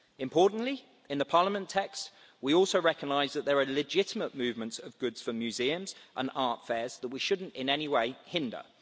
Importantly, in the Parliament text we also recognise that there are legitimate movements of goods for museums and art fairs that we shouldn't in any way hinder.